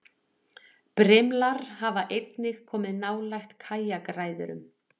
Brimlar hafa einnig komið nálægt kajakræðurum.